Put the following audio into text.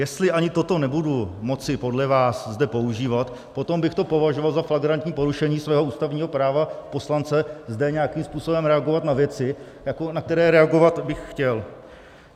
Jestli ani toto nebudu moci podle vás zde používat, potom bych to považoval za flagrantní porušení svého ústavního práva poslance zde nějakým způsobem reagovat na věci, na které reagovat bych chtěl.